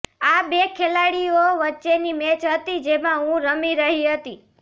આ બે ખેલાડીઓ વચ્ચેની મેચ હતી જેમાં હું રમી રહી હતી